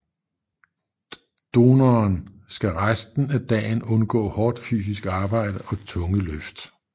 Donoren skal resten af dagen undgå hårdt fysisk arbejde og tunge løft